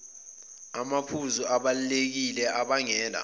namaphuzu abalulekile abangela